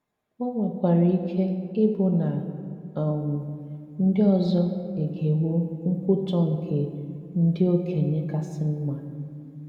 Ó nwèkwàrà ike ịbụ nà um ndí ọzọ egewo nkwutọ̀ nkè “ndị okenye kàsị mma.